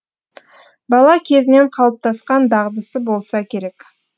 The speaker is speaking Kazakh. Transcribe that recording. бала кезінен қалыптасқан дағдысы болса керек